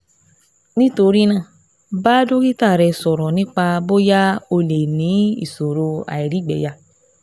Nítorí náà, bá dókítà rẹ sọ̀rọ̀ nípa bóyá o lè ní ìṣòro àìrígbẹyà